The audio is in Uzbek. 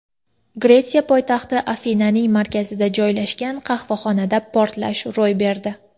Gretsiya poytaxti Afinaning markazida joylashgan qahvaxonada portlash ro‘y berdi.